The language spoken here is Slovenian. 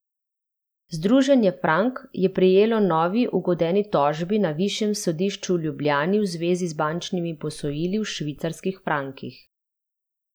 Združenje Frank je prejelo novi ugodeni tožbi na Višjem sodišču v Ljubljani v zvezi z bančnimi posojili v švicarskih frankih.